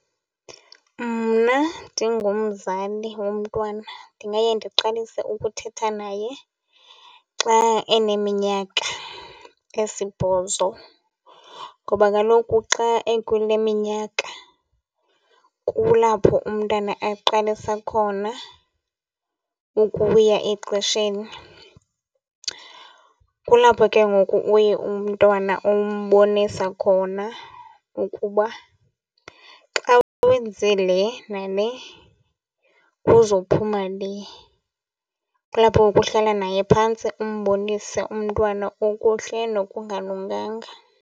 Mna ndingumzali womntwana ndingaye ndiqalise ukuthetha naye xa eneminyaka esibhozo ngoba kaloku xa ekule minyaka kulapho umntwana aqalisa khona ukuya exesheni. Kulapho ke ngoku uye umntwana umbonisa khona ukuba xa wenze le nale kuzophuma le. Kulapho ngoku uhlala naye phantsi umbonise umntwana okuhle nokungalunganga.